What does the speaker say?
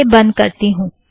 इसे बंध कर देती हूँ